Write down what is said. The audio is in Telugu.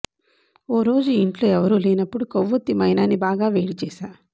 ఓ రోజు ఇంట్లో ఎవరూ లేనపుడు కొవ్వొత్తి మైనాన్ని బాగా వేడిచేశా